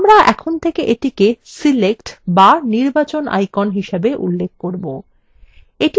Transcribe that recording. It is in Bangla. আমরা এখন থেকে এটিকে select বা নির্বাচন icon হিসাবে উল্লেখ করব